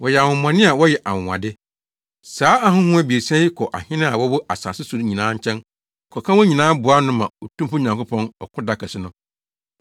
Wɔyɛ ahonhommɔne a wɔyɛ anwonwade. Saa ahonhom abiɛsa yi kɔ ahene a wɔwɔ asase so nyinaa nkyɛn kɔka wɔn nyinaa boa ano ma Otumfo Nyankopɔn ɔko da kɛse no.